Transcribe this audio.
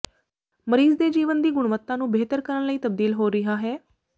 ਮਰੀਜ਼ ਦੇ ਜੀਵਨ ਦੀ ਗੁਣਵੱਤਾ ਨੂੰ ਬਿਹਤਰ ਕਰਨ ਲਈ ਤਬਦੀਲ ਹੋ ਰਿਹਾ ਹੈ